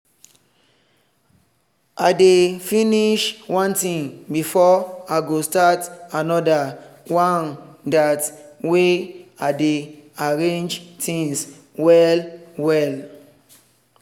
i dey finish one thing before i go start anoder one dat way i dey arrange things well.